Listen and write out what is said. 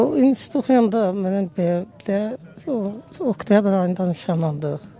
O institutu oxuyanda mən də oktyabr ayında nişanlanmışdıq.